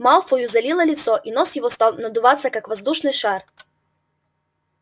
малфою залило лицо и нос его стал надуваться как воздушный шар